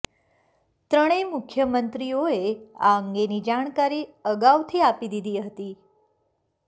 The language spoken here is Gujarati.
ત્રણેય મુખ્યમંત્રીઓએ આ અંગેની જાણકારી અગાઉથી આપી દીધી હતી